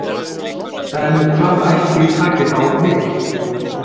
En hvað ætli taki þá við?